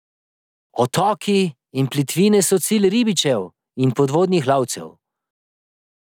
Otoki in plitvine so cilj ribičev in podvodnih lovcev.